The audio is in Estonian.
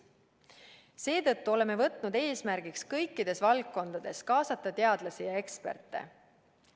Seetõttu oleme võtnud eesmärgiks kõikides valdkondades kaasata teadlasi ja eksperte.